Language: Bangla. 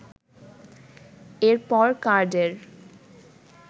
এরপর কার্ডের